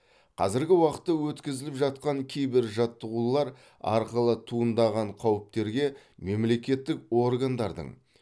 қазіргі уақытта өткізіліп жатқан кибер жаттығулар арқылы туындаған қауіптерге мемлекеттік органдардың